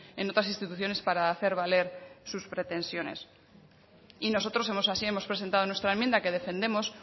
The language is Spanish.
en otras instituciones para hacer valer sus pretensiones y nosotros así hemos presentado en nuestra enmienda que defendemos